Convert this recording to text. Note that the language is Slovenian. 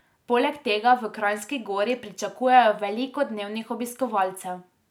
Poleg tega v Kranjski Gori pričakujejo veliko dnevnih obiskovalcev.